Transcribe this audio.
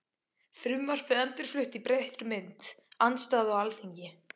Frumvarpið endurflutt í breyttri mynd- Andstaða á Alþingi